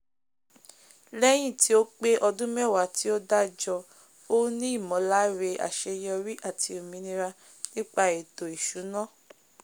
léyìn tí ó pé odún mewa tí ó dájo ó ní ìmòláre àseyorí àti òmìnira nípa ètò ìsúná